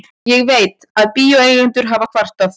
Ég veit, að bíóeigendur hafa kvartað.